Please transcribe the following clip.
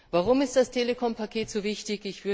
Warum ist das Telekom Paket so wichtig?